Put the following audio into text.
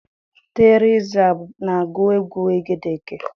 Teriza na-agụ egwu egedege.